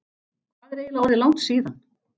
Hvað er eiginlega orðið langt síðan?